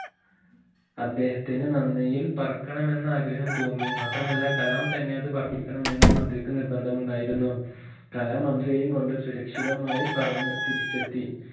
അദ്ദേഹത്തിന് നന്ദിയിൽ പറക്കണമെന്ന് ആഗ്രഹം തോന്നി മാത്രമല്ല കലാം തന്നെ അത് പറപ്പിക്കണം എന്നും അദ്ദേഹത്തിന് നിർബന്ധം ഉണ്ടായിരുന്നു കലാം മന്ത്രിയെയും കൊണ്ട് സുരക്ഷിതമായി പറന്ന് തിരിച്ചെത്തി